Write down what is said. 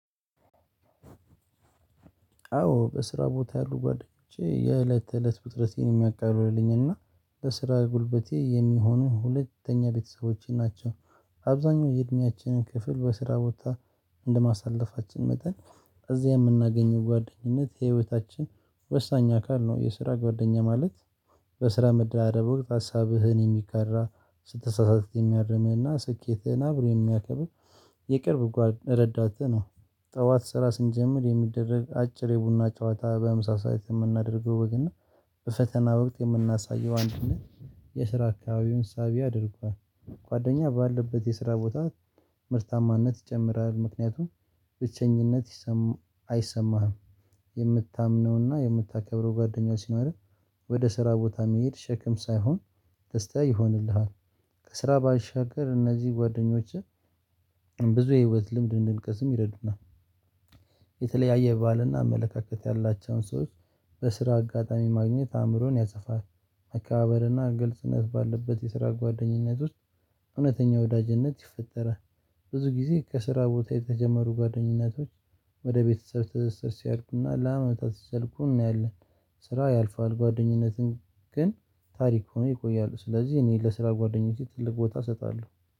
አዎ በስራ ቦታ ያሉ ጓደኞቼ የእለት ተእለት ውጥረቴን የሚያቃልሉኝ እና ለስራ ጉልበቴ የሚሆኑ ሁለተኛ ቤተሰቦቼ ናቸው። አብዛኛው የእድሜያችንን ክፍል በስራ ቦታ እንደማሳለፋችን መጠን እዚህ የምናገኘው ጓደኝነት የህይወታችን ወሳኝ አካል ነው። የስራ ጓደኛ ማለት በስራ መደራረብ ወቅት ሀሳብህን የሚጋራ ስትሳሳት የሚያርምህና ስኬትህን አብሮ የሚያከብር የቅርብ ጓድ ረዳትህ ነው። ጠዋት ስራ ስንጀምር የሚደረግ አጭር የቡና ጨዋታ በምሳ ሰዓት የምናደርገው ወግ እና በፈተና ወቅት የምናሳየው አንድነት የስራ አካባቢውን ሳቢ አድርጓል። የቅርብ ጓድ ረዳትህ ነው። ጠዋት ስራ ስንጀምር የሚደረግ አጭር የቡና ጨዋታ በምሳ ሰዓት የምናደርገው ወግ እና በፈተና ወቅት የምናሳየው አንድነት የስራ አካባቢውን ሳቢ አድርጓል። ከስራ ባሻገር እነዚህ ጓደኞችህ ብዙ የህይወት ልምድ እንድንቀስም ይረዱናል። የተለያየ ባህልና አመለካከት ያላቸውን ሰዎች በስራ አጋጣሚ ማግኘት አእምሮን ያሰፋል። መከባበርና ግልጽነት ባለበት የስራ ጓደኝነት ውስጥ እውነተኛ ወዳጅነት ይፈጠራል። ብዙ ጊዜ ከስራ ቦታ የተጀመሩ ጓደኝነቶች ወደ ቤተሰብ ትስስር ሲያድጉና ለአመታት ሲዘልቁ እናያለን። ስራ ያልፋል ጓደኝነትን ግን ታሪክ ሆኖ ይቆያል። ስለዚህ እኔ ለስራ ጓደኞቼ ትልቅ ቦታ እሰጣለሁ።